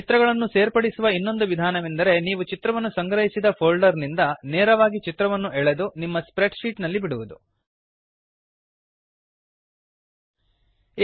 ಚಿತ್ರಗಳನ್ನು ಸೇರ್ಪಡಿಸುವ ಇನ್ನೊಂದು ವಿಧಾನವೆಂದರೆ ನೀವು ಚಿತ್ರವನ್ನು ಸಂಗ್ರಹಿಸಿದ ಫೋಲ್ಡರ್ ನಿಂದ ನೇರವಾಗಿ ಚಿತ್ರವನ್ನು ಎಳೆದು ಡ್ರ್ಯಾಗ್ ನಿಮ್ಮ ಸ್ಪ್ರೆಡ್ ಶೀಟ್ ನಲ್ಲಿ ಬಿಡುವುದು